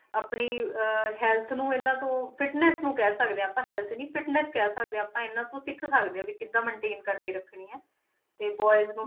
ਆਪਣੀ ਅਹ health ਨੂੰ ਇਹਨਾਂ ਤੋਂ fitness ਨੂੰ ਕਹਿ ਸਕਦੇ ਹਾਂ ਆਪਾਂ health ਨੀ fitness ਕਹਿ ਸਕਦੇ ਹਾਂ ਆਪਾਂ ਇਹਨਾਂ ਤੋਂ ਸਿੱਖ ਸਕਦੇ ਹਾਂ ਵੀ ਕਿੱਦਾਂ maintain ਕਰਕੇ ਰੱਖਣੀ ਹੈ, ਤੇ boys ਨੂੰ